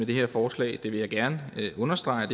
det her forslag det vil jeg gerne understrege